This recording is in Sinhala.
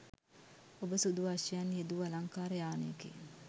ඔබ සුදු අශ්වයන් යෙදූ අලංකාර යානයකින්